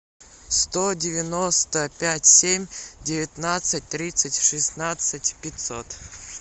сто девяносто пять семь девятнадцать тридцать шестнадцать пятьсот